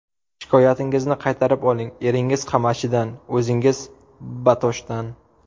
Shikoyatingizni qaytarib oling, eringiz Qamashidan, o‘zingiz Batoshdan.